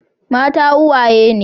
Mata uwaye ne.